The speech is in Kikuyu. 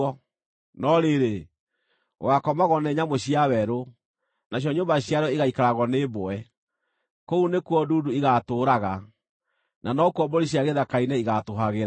No rĩrĩ, gũgaakomagwo nĩ nyamũ cia werũ, nacio nyũmba ciarĩo igaikaragwo nĩ mbwe; kũu nĩkuo ndundu igaatũũraga, na nokuo mbũri cia gĩthaka-inĩ igaatũũhagĩra.